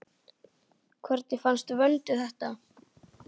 Hvernig fannst Vöndu þetta?